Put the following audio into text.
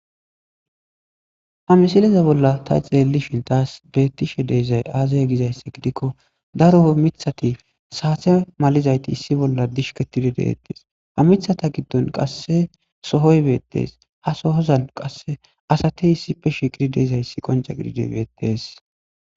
Ha misileza bolla ta xeelli shintaas bettishe deizay aazaya gizayssi gidikko daroo mithati saatse malizayti issi bolla dishke tidi deettees ha mithata giddon qasse sohoy beettees ha sohozan qasse asatey issife shigidi deezayssi qonca gidide beetees.